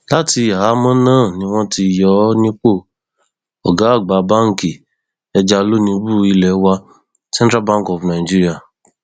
láti àhámọ náà ni wọn ti yọ ọ nípò ọgá àgbà báǹkì ẹjalónìbù ilé wa central bank of nigeria